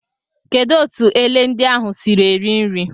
Kedụ etu ele ndị ahụ siiri eri nri.